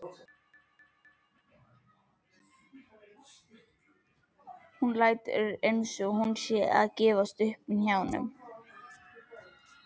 Hún lætur einsog hún sé að gefast upp í hnjánum.